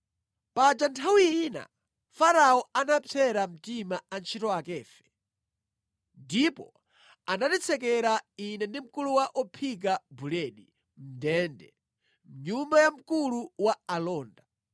Paja nthawi ina Farao anapsera mtima antchito akefe, ndipo anatitsekera (ine ndi mkulu wa ophika buledi) mʼndende, mʼnyumba ya mkulu wa alonda.